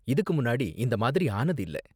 இதுக்கு முன்னாடி இந்த மாதிரி ஆனது இல்ல.